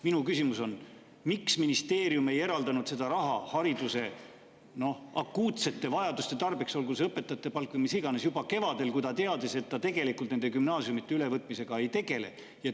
Minu küsimus on: miks ministeerium ei eraldanud seda raha hariduse akuutsete vajaduste tarbeks – olgu see õpetajate palk või mis iganes – juba kevadel, kui ta teadis, et ta tegelikult nende gümnaasiumide ülevõtmisega ei tegele?